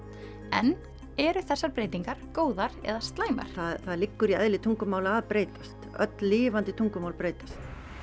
en eru þessar breytingar góðar eða slæmar það liggur í eðli tungumála að breytast öll lifandi tungumál breytast